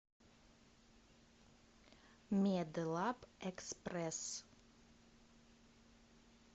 медлабэкспресс